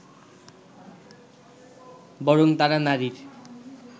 বরং তারা নারীর